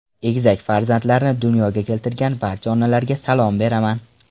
Egizak farzandlarni dunyoga keltirgan barcha onalarga salom beraman.